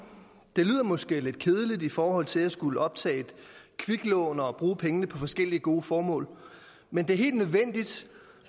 det lyder måske lidt kedeligt i forhold til at skulle optage et kviklån og bruge pengene på forskellige gode formål men det er helt nødvendigt